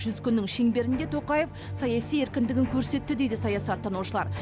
жүз күннің шеңберінде тоқаев саяси еркіндігін көрсетті дейді саясаттанушылар